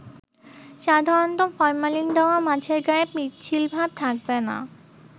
সাধারণত ফরমালিন দেওয়া মাছের গায়ে পিচ্ছিলভাব থাকবে না।